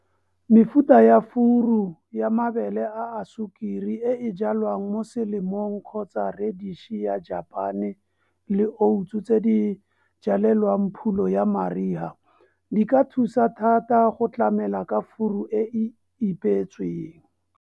Mefuta ya furu ya mabele a a sukiri e e jalwang mo selemong kgotsa rediše ya Japane le outsu tse di jalelwang phulo ya mariga, di ka thusa thata go tlamela ka furu e e ipeetsweng.